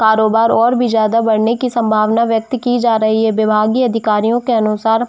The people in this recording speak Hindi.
कारोबार और भी ज्यादा बढ़ने की संभावना वैक्त की जा रही है विभागीय अधिकारियों के अनुसार--